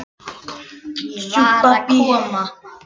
Var að koma heim.